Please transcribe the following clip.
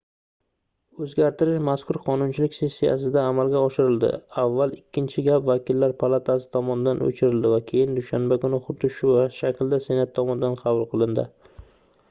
oʻzgartirish mazkur qonunchilik sessiyasida amalga oshirildi avval ikkinchi gap vakillar palatasi tomonidan oʻchirildi va keyin dushanba kuni xuddi shu shaklda senat tomonidan qabul qilindi